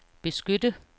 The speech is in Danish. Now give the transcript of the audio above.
beskytte